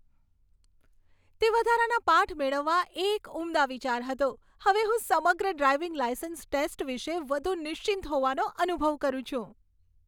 તે વધારાના પાઠ મેળવવા એ એક ઉમદા વિચાર હતો! હવે હું સમગ્ર ડ્રાઈવિંગ લાયસન્સ ટેસ્ટ વિશે વધુ નિશ્ચિંત હોવાનો અનુભવ કરું છું.